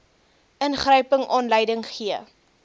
ingryping aanleiding gee